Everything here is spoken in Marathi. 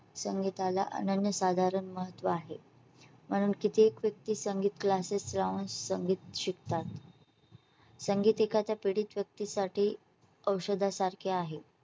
संगीता ला अनन्यसाधारण महत्त्व आहे. म्हणून किती एक व्यक्ती संगीत classes लावून संगीत शिकतात संगीतिका च्या पीडित व्यक्ती साठी. औषधा सारखे आहे.